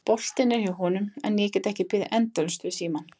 Boltinn er hjá honum en ég get ekki beðið endalaust við símann.